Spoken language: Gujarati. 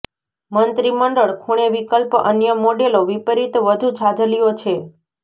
મંત્રીમંડળ ખૂણે વિકલ્પ અન્ય મોડેલો વિપરીત વધુ છાજલીઓ છે